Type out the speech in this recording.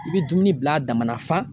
I bɛ dumuni bila a damannafan.